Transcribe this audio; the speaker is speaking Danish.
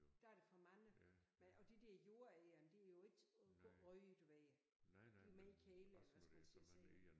Der er der for mange men og de der jordegern de er jo ikke røde du ved de jo mere kedelige eller hvad skal man sige at se på